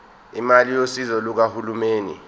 imali yosizo lukahulumeni